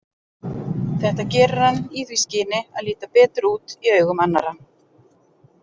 Þetta gerir hann í því skyni að líta betur út í augum annarra.